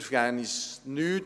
Wir vergeben uns nichts.